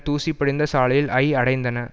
தூசி படிந்த சாலையில் ஐ அடைந்தன